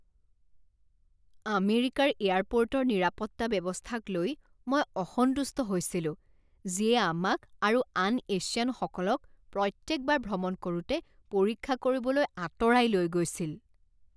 আমেৰিকাৰ এয়াৰপৰ্টৰ নিৰাপত্তা ব্যৱস্থাক লৈ মই অসন্তুষ্ট হৈছিলোঁ যিয়ে আমাক আৰু আন এছিয়ানসকলক প্ৰত্যেকবাৰ ভ্ৰমণ কৰোঁতে পৰীক্ষা কৰিবলৈ আঁতৰাই লৈ গৈছিল।